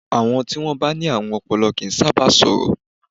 Àọn tí wọ́n bá ní àrùn ọpọlọ kì í sáábà sọ̀rọ̀.